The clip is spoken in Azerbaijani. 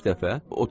35 dəfə?